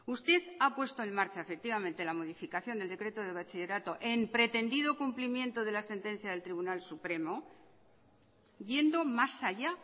usted ha puesto en marcha efectivamente la modificación del decreto de bachillerato en pretendido cumplimiento de la sentencia del tribunal supremo yendo más allá